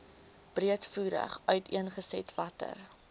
breedvoerig uiteengesit watter